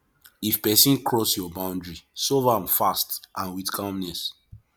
if person cross your boundary solve am fast and with calmness